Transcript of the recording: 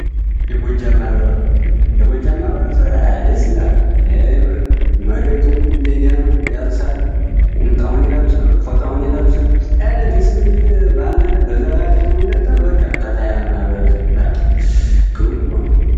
የጎጃም ማህበረሰብ፤ የጎጃም ማህበረሰብ ደስ ይላል። መሬቱም ሜዳ ነዉ ያርሳል ቁምጠዉን ይለብሳል ፎጣዉን ይለብሳል። ኧረ ደስ የሚል ማህበረሰብ በዛላይ አረቂዉን ይጠጣል።